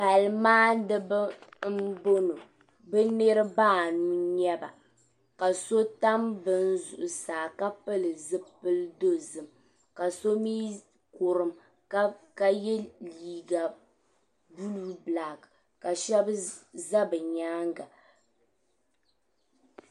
Pali maaniba m-bɔŋɔ be niriba anu n-nyɛ ba ka so tam beni zuɣusaa ka pili zipil'dozim ka so mii kurum ka ye liiga "blue black" ka shɛba za be nyaaŋa.